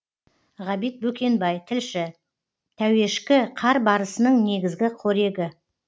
ғабит бөкенбай тілші тәуешкі қар барысының негізгі қорегі